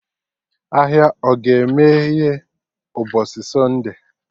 Ahịa ọ ga-emeye mgbọsị Sunday?